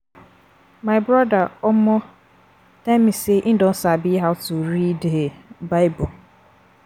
My broda um tell me say e don sabi how to read um bible